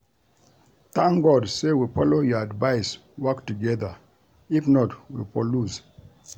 Thank God say we follow your advice work together if not we for lose